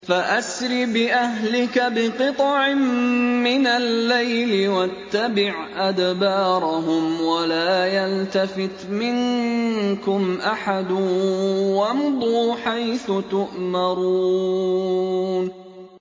فَأَسْرِ بِأَهْلِكَ بِقِطْعٍ مِّنَ اللَّيْلِ وَاتَّبِعْ أَدْبَارَهُمْ وَلَا يَلْتَفِتْ مِنكُمْ أَحَدٌ وَامْضُوا حَيْثُ تُؤْمَرُونَ